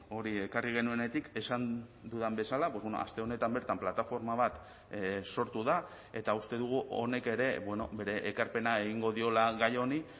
hori ekarri genuenetik esan dudan bezala aste honetan bertan plataforma bat sortu da eta uste dugu honek ere bere ekarpena egingo diola gai honi